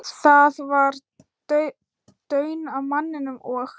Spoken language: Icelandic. Það var daunn af manninum, og